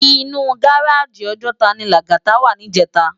Inú gáráji Òjòtá ni Lagata wá nijètá